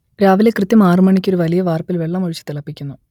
രാവിലെ കൃത്യം ആറ് മണിക്ക് ഒരു വലിയ വാർപ്പിൽ വെള്ളം ഒഴിച്ചു തിളപ്പിക്കുന്നു